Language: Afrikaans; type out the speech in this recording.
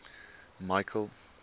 michael